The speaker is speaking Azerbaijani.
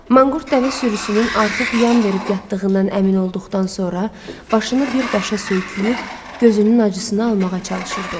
Manqurt dəvə sürüsünün artıq yan verib yatdığından əmin olduqdan sonra, başını bir daşa söyküyüb, gözünün acısını almağa çalışırdı.